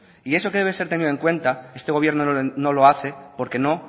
y eso que debe tenido en cuenta este gobierno no lo hace porque no